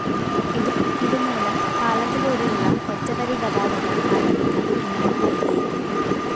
ഇതുമൂലം പാലത്തിലൂടെയുള്ള ഒറ്റവരി ഗാതാഗതം ആരംഭിക്കാന്‍ ഇനിയും വൈകിയേക്കും